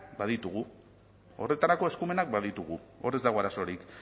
baditugu horretarako eskumenak baditugu hor ez dago arazorik